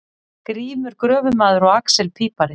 Grímur gröfumaður og axel pípari.